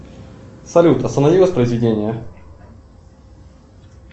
салют останови воспроизведение